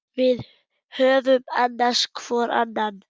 Við höfum annast hvor annan.